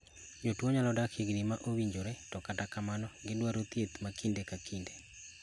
Jotuo nyalo dak higni maowinjore to kata kamano gidwaro thieth makinde kakinde.